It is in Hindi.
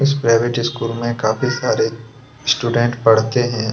इस प्राइवेट स्कूल में काफी सारे पढ़ते है।